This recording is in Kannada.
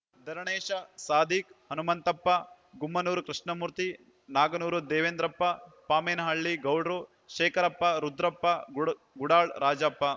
ಧರಣೇಶ ಸಾದಿಕ್‌ ಹನುಮಂತಪ್ಪ ಗುಮ್ಮನೂರು ಕೃಷ್ಣಮೂರ್ತಿ ನಾಗನೂರು ದೇವೇಂದ್ರಪ್ಪ ಪಾಮೇನಹಳ್ಳಿ ಗೌಡ್ರು ಶೇಖರಪ್ಪ ರುದ್ರಪ್ಪ ಗುಡಾಳ್‌ ರಾಜಪ್ಪ